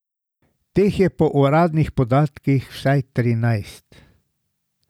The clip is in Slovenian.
Teh je po uradnih podatkih vsaj trinajst.